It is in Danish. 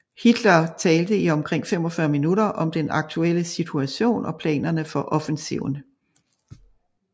Hitler talte i omkring 45 minutter om den aktuelle situation og planerne for offensiven